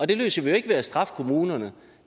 det løser vi jo ikke ved at straffe kommunerne